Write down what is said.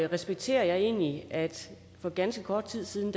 respekterer jeg egentlig at for ganske kort tid siden